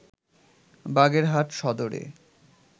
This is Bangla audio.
বাগেরহাট সদরে